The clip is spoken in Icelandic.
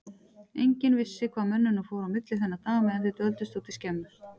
Enginn vissi hvað mönnunum fór á milli þennan dag meðan þeir dvöldust úti í skemmu.